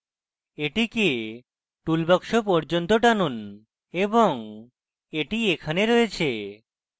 এটিকে টুলবাক্স পর্যন্ত টানুন এবং এটি এখানে রয়েছে